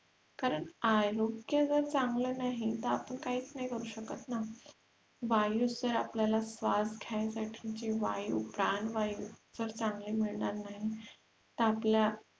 कारण आरोग्य चागलं नाही तर आपण काहीच नाही करू शकत ना वायु जर आपल्याला श्र्वास घेण्यासाठीची जे वायु प्राणवायु जर चांगली मिळणार नाही तर आपल्या